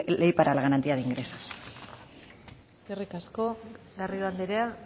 ley de la ley para la garantía de ingresos eskerrik asko garrido anderea